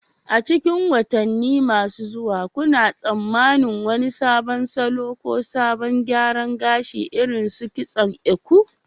A cikin watanni masu zuwa, kuna tsammanin wani sabon salo ko salon gyara gashi, irin su kitson Eko?